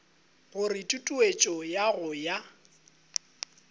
gore tutuetšo ya go ya